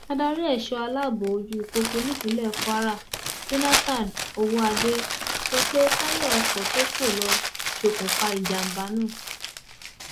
adarí ẹṣọ aláàbọ ojú pópó nípínlẹ kwara jonathan owóade sọ pé táyà ọkọ tó fò lọ ṣokùnfà ìjàmbá náà